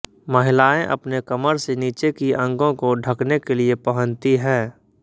महिलाएं अपने कमर से नीचे की अंगो को ढकने के लिए पहनती हैं